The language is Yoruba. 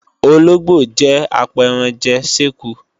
Ológbò jẹ́ apẹranjè séku